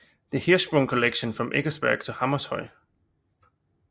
The Hirschsprung Collection from Eckersberg to Hammershøi